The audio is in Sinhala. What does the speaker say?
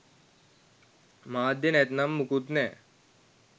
මාධ්‍ය නැත්නම් මුකුත් නෑ